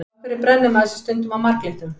Af hverju brennir maður sig stundum á marglyttum?